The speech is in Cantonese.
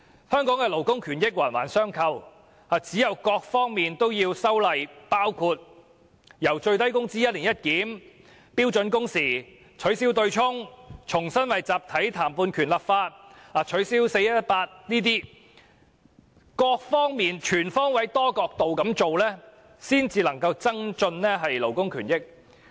香港的勞工權益環環相扣，唯有修訂各方面的法例，包括最低工資的"一年一檢"、標準工時、取消"對沖"機制、重新為集體談判權立法和取消 "4-18" 規定，全方位、多角度下工夫，方能增進勞工權益。